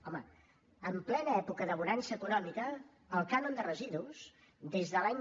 home en plena època de bonança econòmica el cànon de residus des de l’any